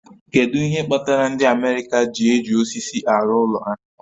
Kedu ihe kpatara ndị America ji eji osisi arụ ụlọ ha